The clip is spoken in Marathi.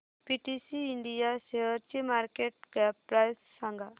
पीटीसी इंडिया शेअरची मार्केट कॅप प्राइस सांगा